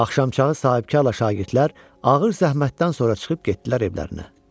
Axşamçağı sahibkarla şagirdlər ağır zəhmətdən sonra çıxıb getdilər evlərinə.